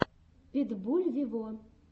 питбуль вево